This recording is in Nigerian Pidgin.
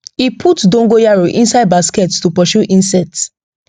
e put dogoyaro inside basket to pursue insect